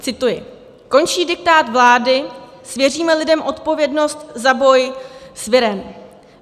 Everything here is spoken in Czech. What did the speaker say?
Cituji: "Končí diktát vlády, svěříme lidem odpovědnost za boj s virem."